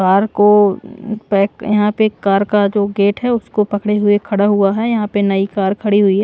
Car को हम्म pack यहां पे कार का जो गेट है उसको पकड़े हुए खड़ा हुआ है यहां पर नई कार खड़ी हुई है ।